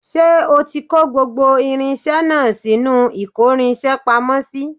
Ṣé o ti kò gbogbo irinṣẹ́ náà sínú ìkórinṣẹ́ pamọ́ sí